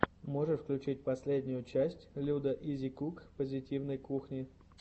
можешь включить последнюю часть людаизикук позитивной кухни